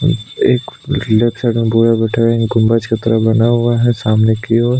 एक left side गोरा बैठा है गुंम्बद की तरह बना हुआ है सामने की ओर--